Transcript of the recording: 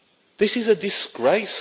This is a disgrace.